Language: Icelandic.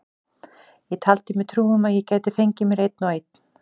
Ég taldi mér trú um að ég gæti fengið mér einn og einn.